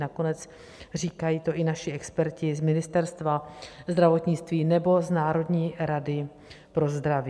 Nakonec říkají to i naši experti z Ministerstva zdravotnictví nebo z Národní rady pro zdraví.